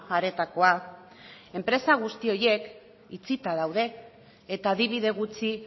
areetakoa enpresa guzti horiek itxita daude eta adibide gutxi